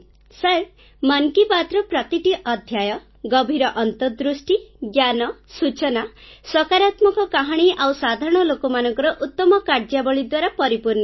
sir ମନ କି ବାତ୍ର ପ୍ରତିଟି ଅଧ୍ୟାୟ ଗଭୀର ଅନ୍ତର୍ଦୃଷ୍ଟି ଜ୍ଞାନ ସୂଚନା ସକାରାତ୍ମକ କାହାଣୀ ଆଉ ସାଧାରଣ ଲୋକମାନଙ୍କର ଉତ୍ତମ କାର୍ଯ୍ୟାବଳୀ ଦ୍ୱାରା ପରିପୂର୍ଣ୍ଣ